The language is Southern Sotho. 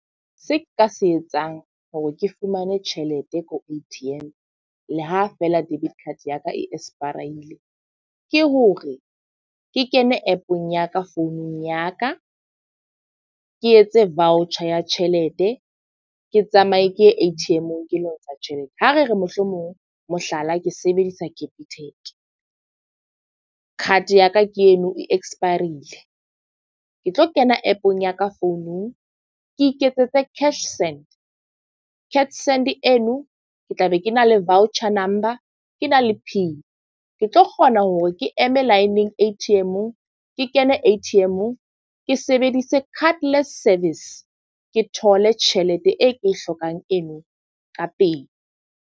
Se nka se etsang hore ke fumane tjhelete ko A_T_M, le ha feela debit card ya ka e expire-ile. Ke hore ke kene app-ong ya ka founung ya ka. Ke etse voucher ya tjhelete, ke tsamaye ke ye A_T_M-ong ke lo ntsha tjhelete. Ha re re mohlomong mohlala ke sebedisa capitec, card ya ka ke eno e expire-rile. Ke tlo kena app-ong ya ka founung, ke iketsetse cash send. Cash send eno ke tla be ke na le voucher number, ke na le PIN. Ke tlo kgona hore ke eme laeneng A_T_M-ong. Ke kene A_T_M-ong. Ke sebedise cardless service, ke thole tjhelete e ke e hlokang eno ka pele.